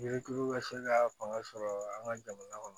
Yirituru ka se ka fanga sɔrɔ an ka jamana kɔnɔ